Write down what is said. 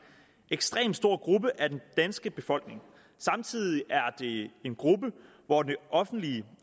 ekstremt stor gruppe af den danske befolkning samtidig er det en gruppe hvor det offentlige